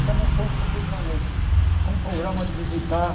Então, nós fomos para o Rio de Janeiro, com o programa de visitar